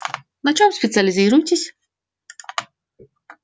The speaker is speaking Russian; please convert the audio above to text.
на чем специализируетесь